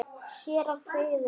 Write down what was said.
Séra Friðrik